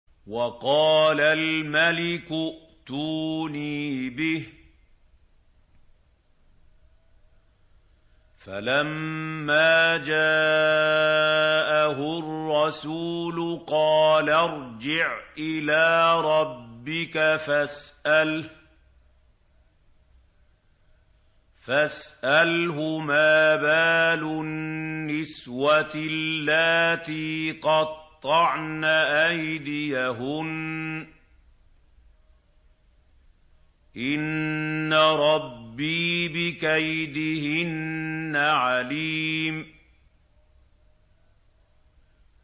وَقَالَ الْمَلِكُ ائْتُونِي بِهِ ۖ فَلَمَّا جَاءَهُ الرَّسُولُ قَالَ ارْجِعْ إِلَىٰ رَبِّكَ فَاسْأَلْهُ مَا بَالُ النِّسْوَةِ اللَّاتِي قَطَّعْنَ أَيْدِيَهُنَّ ۚ إِنَّ رَبِّي بِكَيْدِهِنَّ عَلِيمٌ